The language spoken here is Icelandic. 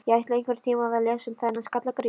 Ég ætla einhvern tíma að lesa um þennan Skalla-Grím.